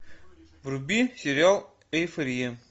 вруби сериал эйфория